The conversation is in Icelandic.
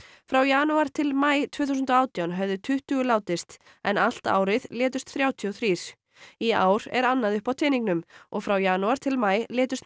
frá janúar til maí tvö þúsund og átján höfðu tuttugu látist en allt árið létust þrjátíu og þrjú í ár er annað uppi á teningnum og frá janúar til maí létust